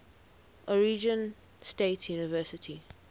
oregon state university